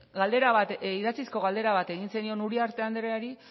idatzizko galdera bat egin zenion uriarte andereari